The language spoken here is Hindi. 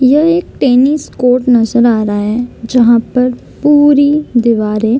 यह एक टेनिस कोर्ट नजर आ रहा है जहाँ पर पूरी दीवारें --